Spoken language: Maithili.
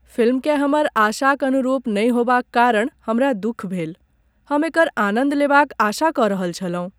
फिल्मकेँ हमर आशाक अनुरूप नहि होएबाक कारण हमरा दुख भेल। हम एकर आनन्द लेबाक आशा कऽ रहल छलहुँ।